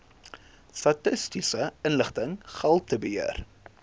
statistiese inligting gehaltebeheer